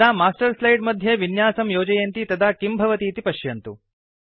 यदा master slide मध्ये विन्यासं योजयन्ति तदा किं भवतीति पश्यन्तु